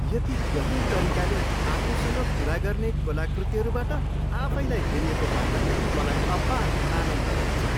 यति गहन् तरिकाले आफूसँग कुरा गर्ने कलाकृतिहरूबाट आफैलाई घेरिएको पाउँदा मलाई अपार आनन्द लाग्छ।